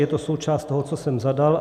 Je to součást toho, co jsem zadal.